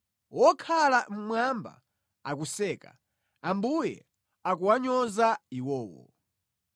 Wokhala mmwamba akuseka; Ambuye akuwanyoza iwowo.